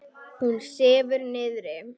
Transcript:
Hún sefur niðri.